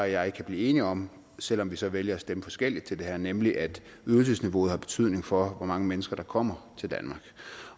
jeg kan blive enige om selv om vi så vælger at stemme forskelligt til det her nemlig at ydelsesniveauet har betydning for hvor mange mennesker der kommer til danmark